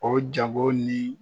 O ja bɔ ni.